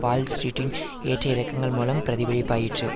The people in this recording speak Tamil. வால் ஸ்ட்ரீட்டின் ஏற்ற இறக்கங்கள் மூலம் பிரதிபலிப்பாயிற்று